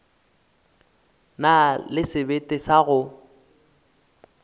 na le sebete sa go